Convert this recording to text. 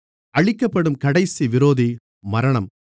அழிக்கப்படும் கடைசி விரோதி மரணம்